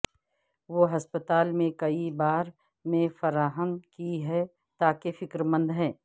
وہ ہسپتال میں کئی بار میں فراہم کی ہیں تاکہ فکر مند ہے